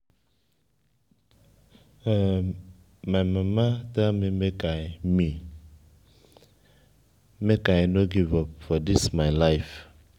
my mama tell me make i me make i no give up for dis my life